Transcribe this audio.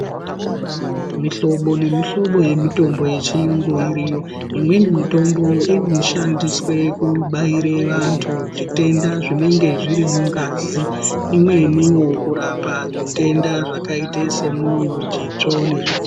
Mihlobo nemihlobo yemitombo yechirungu iriyo imweni mitombo inoshandiswa kubaira antu zvitenda zvinenge zviri mungazi imweni kurapa zvitenda zvakaita ita semwoyo zvitsvo nezvi...